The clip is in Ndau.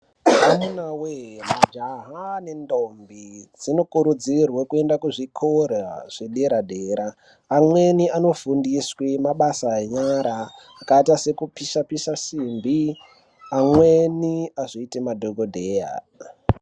Amunawee majaha nendombi dzikurudzirwa kuenda kuzvikora zvepadera dera amweni a ofundiswa mabasa enyara akaita sekupisa pisa simbi amweni azoite madhokodheya.